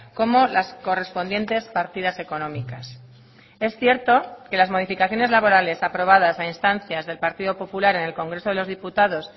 como las correspondientes partidas económicas es cierto que las modificaciones laborales aprobadas a instancias del partido popular en el congreso de los diputados